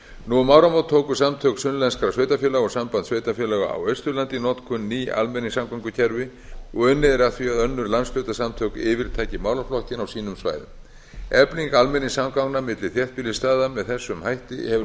nú um áramót tóku samtök sunnlenskra sveitarfélaga og samtök sveitarfélaga á austurlandi í notkun ný almenningssamgöngukerfi og unnið er að því að önnur landshlutasamtök yfirtaki málaflokkinn á sínum svæðum efling almenningssamgangna milli þéttbýlisstaða með þessum hætti hefur